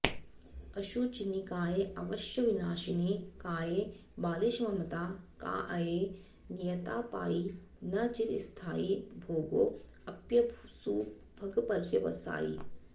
अशुचिनिकायेऽवश्यविनाशिनि काये बालिशममता काऽये नियतापायी न चिरस्थायी भोगोऽप्यसुभगपर्यवसायी